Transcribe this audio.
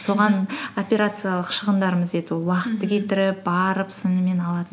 соған операциялық шығындарымыз ол уақытты кетіріп барып сонымен алатын